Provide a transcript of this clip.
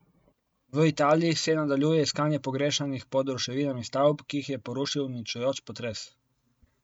V Italiji se nadaljuje iskanje pogrešanih pod ruševinami stavb, ki jih je porušil uničujoč potres.